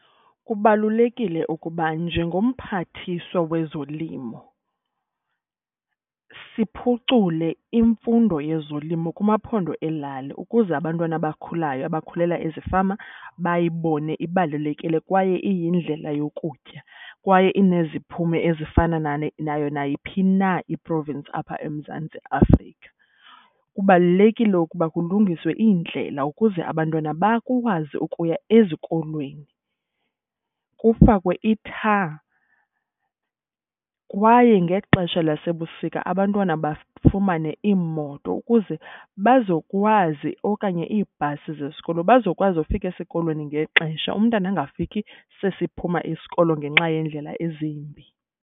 Kubalulekile ukuba njengomphathiswa wezolimo siphucule imfundo yezolimo kumaphondo elali ukuze abantwana abakhulayo abakhulela ezifama bayibone ibalulekile kwaye iyindlela yokutya. Kwaye ineziphumo ezifana nayo nayiphi na i-province apha eMzantsi Afrika. Kubalulekile ukuba kulungiswe iindlela ukuze abantwana bakwazi ukuya ezikolweni, kufakwe i-tar. Kwaye ngexesha lasebusika abantwana bafumane iimoto ukuze bazokwazi okanye iibhasi zesikolo. Bazokwazi ukufika esikolweni ngexesha umntana angafiki sesiphuma isikolo ngenxa yeendlela ezimbi.